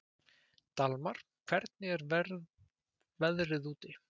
Dalmar, hvernig er veðrið úti?